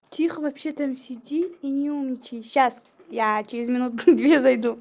тихо вообще там сиди и не умничай сейчас я через минут две зайду